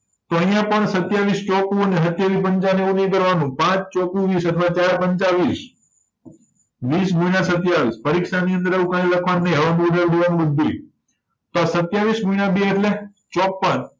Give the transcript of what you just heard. તો આયા પણ સત્યાવીસ ચોકુને સત્યાવી પંચાને એવું બધુય કરવાનું પાંચ ચોકુ વીસ એટલે ચાર પંચા વીસ વીસ ગુણ્યા સત્યાવીસ પરિક્ષાની અંદર આવું કાય લખવાનું નય તો આ સત્યાવીસ ગુણ્યા બે એટલે ચોપ્પન